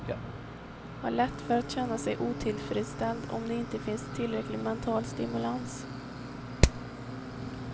Har lätt för att känna sig otillfredsställd om det inte finns tillräcklig mental stimulans.